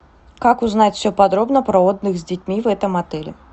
как узнать все подробно про отдых с детьми в этом отеле